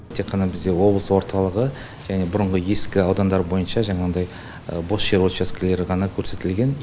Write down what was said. тек қана бізде облыс орталығы және бұрынғы ескі аудандар бойынша жаңағыдай бос жер учаскелері ғана көрсетілген